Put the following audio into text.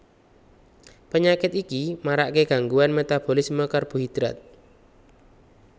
Penyakit iki marake gangguan metabolisme karbohidrat